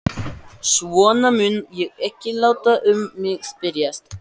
Svona mun ég ekki láta um mig spyrjast.